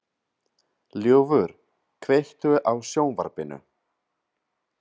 Ljúfur, kveiktu á sjónvarpinu.